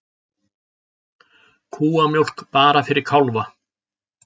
Kúamjólk bara fyrir kálfa